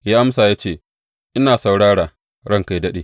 Ya amsa ya ce, Ina saurara, ranka yă daɗe.